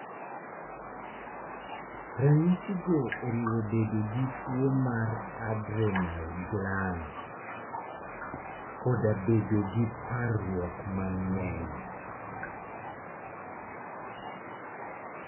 Ranyisigo oriwo bedo gi tuwo mar adrenal gland, koda bedo gi parruok mang'eny.